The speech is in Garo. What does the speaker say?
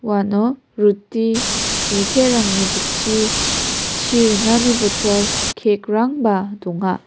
uano ruti biterangni bitchi chi ringani botol cake-rangba donga.